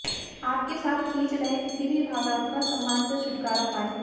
आप के साथ खींच रहे किसी भी भावनात्मक सामान से छुटकारा पाएं